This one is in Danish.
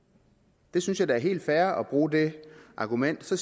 jeg synes da at det er helt fair at bruge det argument så